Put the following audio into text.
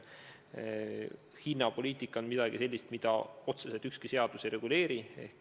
Hinnapoliitika on midagi sellist, mida otseselt ükski seadus ei reguleeri.